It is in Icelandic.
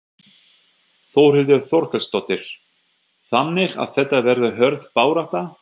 Þórhildur Þorkelsdóttir: Þannig að þetta verður hörð barátta?